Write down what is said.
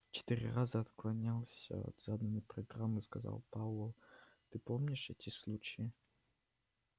четыре раза отклонялся от заданной программы сказал пауэлл ты помнишь эти случаи